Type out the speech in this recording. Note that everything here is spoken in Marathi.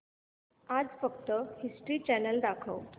आज फक्त हिस्ट्री चॅनल दाखव